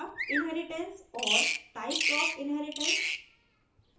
inheritance और inheritance के प्रकार